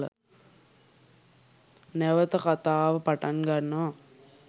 නැවත කතාව පටන් ගන්නවා